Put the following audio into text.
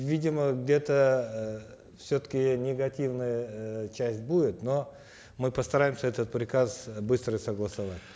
видимо где то э все таки негативная эээ часть будет но мы постараемся этот приказ э быстро согласовать